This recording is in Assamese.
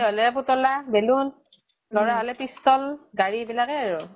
হ'লে পুতলা, balloon | লʼৰা হ'লে pistol, গাড়ী এইবিলাকে আৰু।